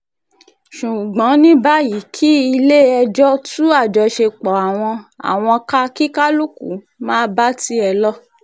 ṣùgbọ́n ní báyìí kí ilé-ẹjọ́ tú àjọṣepọ̀ àwọn àwọn ká kí kálukú máà bá tiẹ̀ lọ